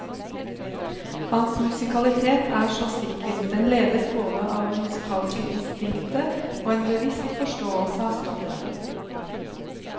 Hans musikalitet er så sikker, den ledes både av det musikalske instinktet og en bevisst forståelse av stoffet.